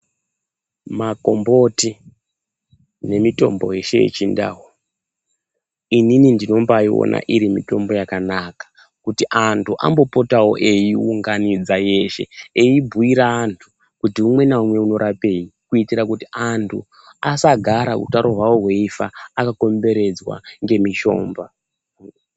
Makombotu nemitombo yeshe yechindau inini ndinombaona iri mutombo yakanaka kuti antu ambopotawo eiiunganidza yeshe eibhuira antu kuti umwe naumwe inorapei kuitira kuti antu asagara utaro hwawo hweifa akakomberedzwa ngemishomba.